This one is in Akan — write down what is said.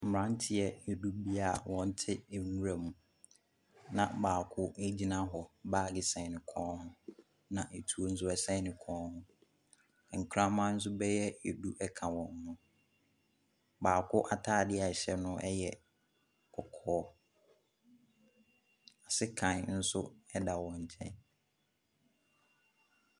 Mmeranteɛ du ni a wɔte nwura mu, na baako gyina hɔ, baage sɛn ne kɔn mu na atuo nso sɛn ne kɔn mu. Nkraman nso dɛyɛ du ka wɔn ho. Baako ataade a ɛhyɛ no yɛ kɔkɔɔ, sekan nso da wɔn nkyɛn.